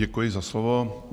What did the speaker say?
Děkuji za slovo.